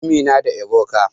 Amina da Ebuka.